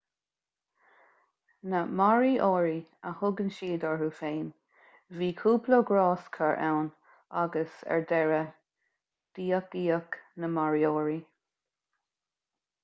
na moriori a thugann siad orthu féin bhí cúpla gráscar ann agus ar deireadh díothaíodh na moriori